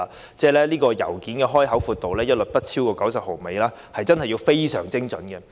現在要求所有信件的開口闊度一律不得超過90毫米，要非常精準。